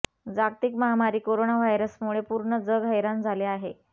जागतिक महामारी कोरोना व्हायरसमुळे पूर्ण जग हैरान झाले आहे